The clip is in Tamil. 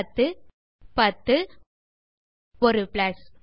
10 10 ஒரு பிளஸ்